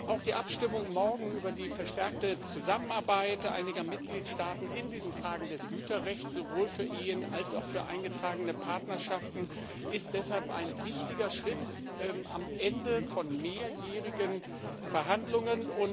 Auch die Abstimmung morgen über die verstärkte Zusammenarbeit einiger Mitgliedstaaten in diesen Fragen des Güterrechts, sowohl für Ehen als auch für eingetragene Partnerschaften, ist deshalb ein wichtiger Schritt am Ende von mehrjährigen Verhandlungen.